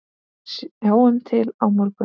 En sjáum til á morgun!